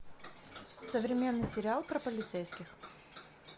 современный сериал про полицейских